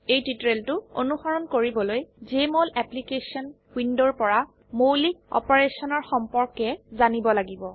এই টিউটোৰিয়েলটো অনুসৰণ কৰিবলৈ জেএমঅল অ্যাপ্লিকেশন উইন্ডোৰ পৰা মৌলিক অপাৰেশনৰ সম্পৰ্কে জানিব লাগিব